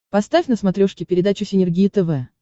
поставь на смотрешке передачу синергия тв